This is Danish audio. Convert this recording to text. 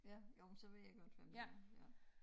Ja jo men så ved jeg godt hvem det er ja